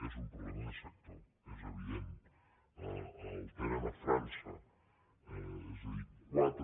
és un problema de sector és evident el tenen a frança és a dir quatre